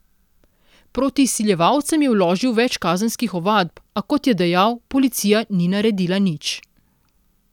Proti izsiljevalcem je vložil več kazenskih ovadb, a, kot je dejal, policija ni naredila nič.